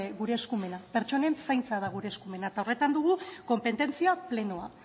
gure eskumena pentsonen zaintza da gure eskumena eta horretan dugu konpetentzia plenoa